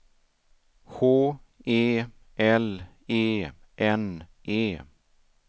H E L E N E